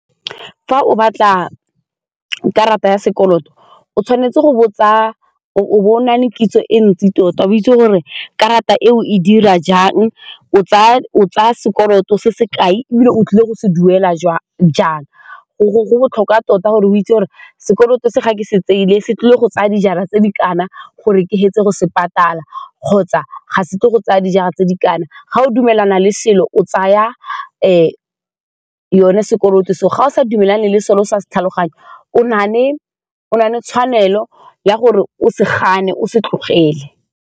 Fa o batla karata ya sekoloto o tshwanetse o bo o na le kitso e ntsi tota o itse gore karata eo e dira jang, o tsaya sekoloto se se kae ebile o tlile go se duela jwa jang go botlhokwa tota gore o itse gore sekoloto se ga ke se tseele se tlile go tsaya dijara tse di kana gore ke fetse go se patala kgotsa ga se tle go tsaya dijara tse di kana ga o dumelana le o tsaya yone sekoloto seo ga o sa dumelane le selo se o sa se tlhaloganye o na le tshwanelo ya gore o se gane o se tlogele.